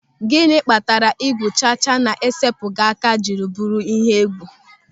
Gịnị kpatara igwu chacha na-esepụghị aka jiri bụrụ ihe egwu.